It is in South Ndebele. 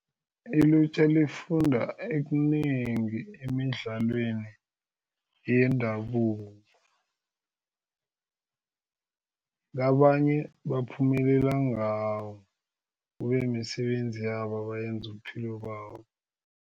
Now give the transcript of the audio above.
Ilutjha lifunda ekunengi emidlalweni yendabuko kabanye baphumelela ngawo kube misebenzi yabo abayenza ubuphilo babo.